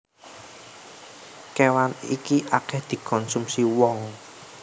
Kéwan iki akèh dikonsumsi wong